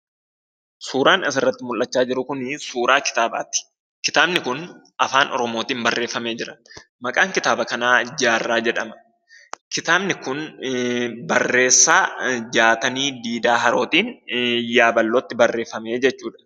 Suuraan asirratti mul'achaa jiru kunii, suuraa kitaabati. kitaabni kun, afaan oromootin barreeffame jira. Maqaan kitaaba kanaa jaarraa jedhama. Kitaabni kun, barreessa Jaatanii jiidaa Arootiin yaaballootti barreeffame jechuudha.